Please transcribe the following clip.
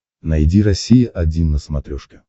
найди россия один на смотрешке